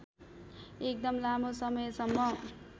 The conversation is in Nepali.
एकदम लामो समयसम्म